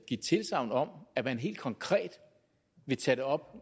give tilsagn om at man helt konkret vil tage det op